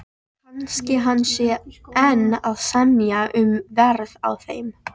Kannski hann sé enn að semja um verð á þeim.